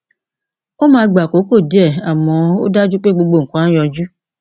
ó máa gba àkókò díẹ àmọ ó dájú pé gbogbo nǹkan á yanjú